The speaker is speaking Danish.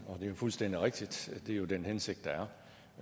det er jo fuldstændig rigtigt det er den hensigt der er